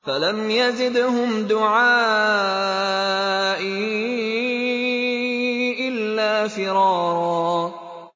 فَلَمْ يَزِدْهُمْ دُعَائِي إِلَّا فِرَارًا